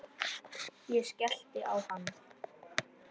Ég skellti á hann.